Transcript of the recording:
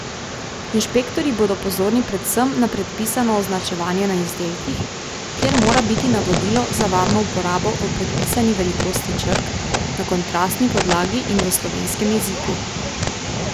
Inšpektorji bodo pozorni predvsem na predpisano označevanje na izdelkih, kjer mora biti navodilo za varno uporabo v predpisani velikosti črk, na kontrastni podlagi in v slovenskem jeziku.